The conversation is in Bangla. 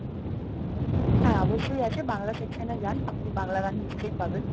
হ্যাঁ, অবশ্যই আছে বাংলা section এ যান, আপনি বাংলা গান নিশ্চয়ই পাবেন।